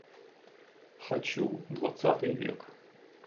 хочу двадцатый век